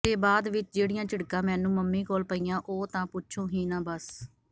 ਤੇ ਬਾਅਦ ਵਿਚ ਜਿਹੜੀਆਂ ਝਿੜਕਾਂ ਮੈਨੂੰ ਮੰਮੀ ਕੋਲੋਂ ਪਈਆਂ ਉਹ ਤਾਂ ਪੁੱਛੋ ਹੀ ਨਾ ਬਸ